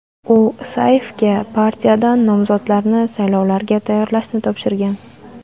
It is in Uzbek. U Isayevga partiyadan nomzodlarni saylovlarga tayyorlashni topshirgan.